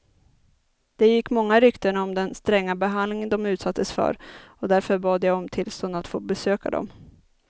Det gick många rykten om den stränga behandling de utsattes för och därför bad jag om tillstånd att få besöka dem.